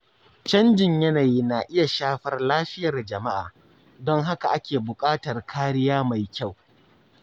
Canjin yanayi na iya shafar lafiyar jama’a, don haka ake bukatar kariya mai kyau.